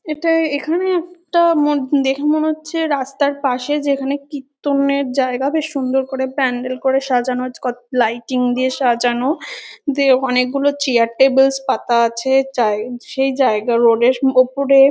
এটা এখানে একটা মো দেখে মনে হচ্ছে রাস্তার পাশে যেখানে কীর্তনের জায়গা বেশ সুন্দর করে প্যান্ডেল করে সাজানো ক লাইটিংস দিয়ে সাজানো। দিয়ে অনেকগুলি চেয়ার -টেবিলস পাতা আছে। যায় সেই জায়গার রোড এর ওপরে।